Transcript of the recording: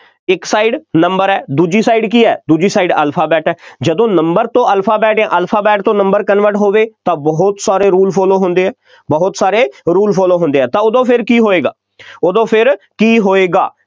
ਇੱਕ side number ਹੈ ਦੂਜੀ side ਕੀ ਹੈ, ਦੂਜੀ side alphabet ਹੈ, ਜਦੋਂ number ਤੋਂ alphabet ਜਾਂ alphabet ਤੋਂ number convert ਹੋਵੇ ਤਾਂ ਬਹੁਤ ਸਾਰੇ rule follow ਹੁੰਦੇ ਆ, ਬਹੁਤ ਸਾਰੇ rule follow ਹੁੰਦੇ ਆ, ਤਾਂ ਉਦੋਂ ਫੇਰ ਕੀ ਹੋਏਗਾ, ਉਦੋਂ ਫੇਰ ਕੀ ਹੋਏਗਾ।